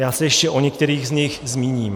Já se ještě o některých z nich zmíním.